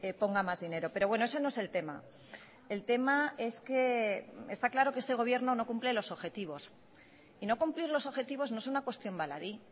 ponga más dinero pero bueno eso no es el tema el tema es que está claro que este gobierno no cumple los objetivos y no cumplir los objetivos no es una cuestión baladí